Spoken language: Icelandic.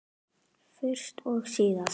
Fyrst og síðast.